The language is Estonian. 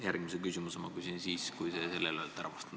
Järgmise küsimuse küsin ma siis, kui te sellele olete vastanud.